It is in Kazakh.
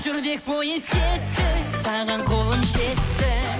жүрдек пойыз кетті саған қолым жетті